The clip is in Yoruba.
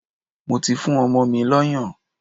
Mo ti fún ọmọ mi lọ́yàn.